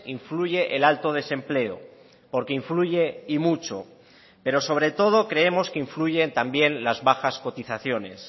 influye el alto desempleo porque influye y mucho pero sobre todo creemos que influyen también las bajas cotizaciones